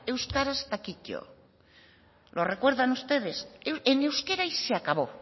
euskaraz eta kito lo recuerdan ustedes en euskera y se acabó